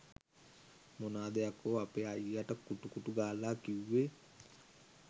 මොනාද යකෝ අපෙ අයියට කු‍ටු කු‍ටු ගාල කිව්වෙ?